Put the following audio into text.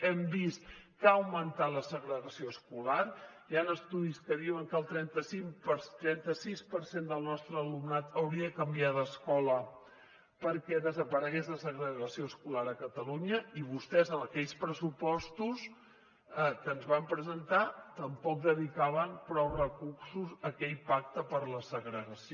hem vist que ha augmentat la segregació escolar hi han estudis que diuen que el trenta sis per cent del nostre alumnat hauria de canviar d’escola perquè desaparegués la segregació escolar a catalunya i vostès en aquells pressupostos que ens van presentar tampoc dedicaven prou recursos a aquell pacte contra la segregació